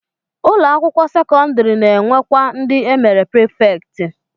Ụlọakwụkwọ sekọndịrị na-enwekwa ndị e mere prifektị